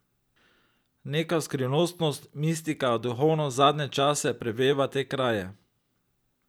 Neka skrivnostnost, mistika, duhovnost zadnje čase preveva te kraje.